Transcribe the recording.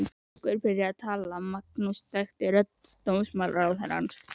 Einhver byrjaði að tala og Magnús þekkti rödd dómsmálaráðherrans.